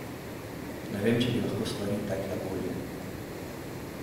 Ne vem, če bi lahko stvari tekle bolje.